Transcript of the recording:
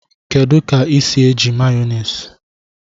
Kedu ka esi eji Mayonezi